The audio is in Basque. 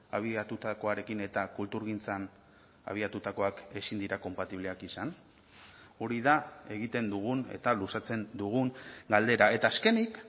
abiatutakoarekin eta kulturgintzan abiatutakoak ezin dira konpatibleak izan hori da egiten dugun eta luzatzen dugun galdera eta azkenik